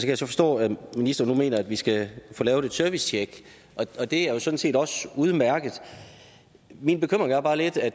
jeg så forstå at ministeren nu mener at vi skal få lavet et servicetjek det er jo sådan set også udmærket min bekymring er bare lidt at